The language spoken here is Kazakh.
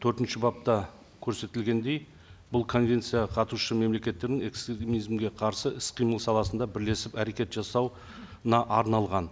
төртінші бапта көрсетілгендей бұл конвенцияға қатысушы мемлекеттердің экстремизмге қарсы іс қимыл саласында бірлесіп әрекет жасауына арналған